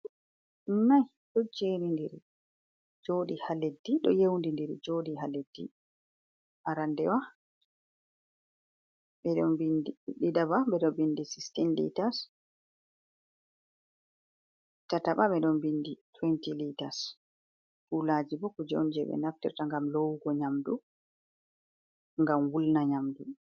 4 do jeri ndiri jodi halleddi do yewndi ndir jodi ha leddi arandewa 16 bidi 20 lits culaji bo ku jonje be naftirta ngam lowugo nyamdu gam wulna nyamdu.